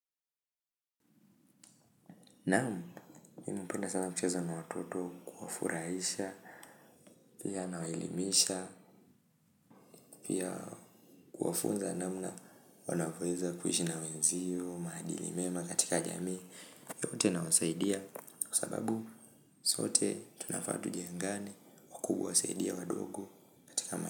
Naam, mimi napenda sana kucheza na watoto, kuwafurahisha, pia nawaelimisha, pia kuwafunza namna wanavoweza kuishi na wenziyo, maadili mema katika jamii, yote nawasaidia, kwa sababu sote tunafaa tujengane, wakubwa wasaidie wadogo.